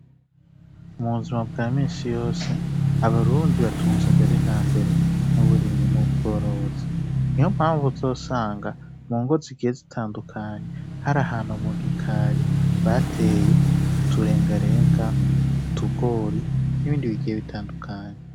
Mubuzima bwaminshi yose abarundi batunze mbere na mbere n'uburimyi n'ubworozi ni ho mpamvu uzosanga mu ngozi igihe zitandukanye hari ahantu mu gikari bateye uturengarenga utugori n'ibindi bigiye bitandukanye.